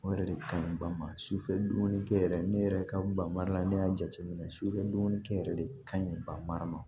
O yɛrɛ de ka ɲi ba ma su fɛ dumuni kɛ yɛrɛ ne yɛrɛ ka bari la ne y'a jateminɛ sufɛ dumunikɛ yɛrɛ de kaɲi ban mara ma